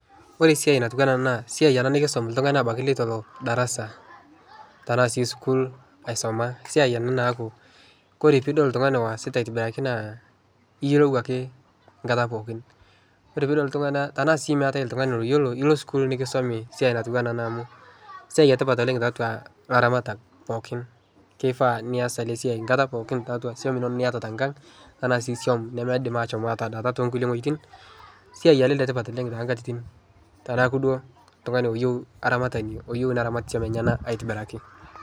Ore esiai natiu anaa ena naa siai ena nikisom oltung'ani abaki leitu elo darasa tenaa sii school aisoma. Esiai ena naaku kore pidol oltung'ani oasita aitibiraki naa iyiolou ake nkata pookin. Ore pidol iltung'ana tenaa sii meetai oltung'ani loyiolo ilo school nikisomi siai natiu anaa ena amu siai etipat oleng' tiatua laramatak pookin. Keifaa nias ele siai nkata pookin tatua suam inono niata tenkang' anaa sii suam nemeidim ashom atadaata tonkulie wuejitin. Siai ele letipat oleng' tonkatitin tenaaku duo oltung'ani oyiou aramatani oyiu ina ramatie openy anaa aitibiraki.